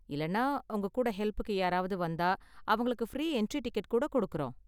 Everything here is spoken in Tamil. இல்லனா உங்க கூட ஹெல்ப்புக்கு யாராவது வந்தா அவங்களுக்கு ஃப்ரீ என்ட்ரி டிக்கெட் கூட கொடுக்குறோம்.